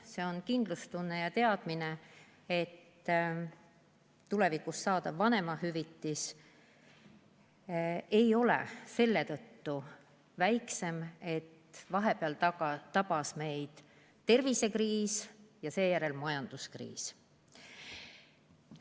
See on kindlustunne ja teadmine, et tulevikus saadav vanemahüvitis ei ole selle tõttu väiksem, et vahepeal tabas meid tervisekriis ja seejärel majanduskriis.